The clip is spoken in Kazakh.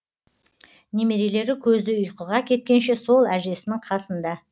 немерелері көзі ұйқыға кеткенше сол әжесінің қасында